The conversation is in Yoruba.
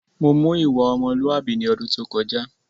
Mò wù ìwà ọmọ́lùàbí ní ọdún tó kọjá